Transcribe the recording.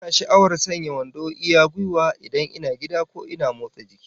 Ina sha'awar sanya wando iya gwiwa, idan ina gida ko ina motsa jiki